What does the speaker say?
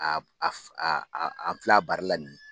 an fil'a baara la nin ye.